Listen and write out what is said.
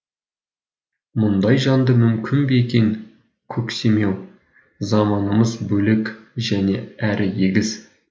мұндай жанды мүмкін бе екен көксемеу заманымыз бөлек және әрі егіз